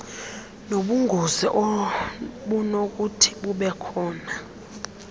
nobungozi obunokuthi bubekhona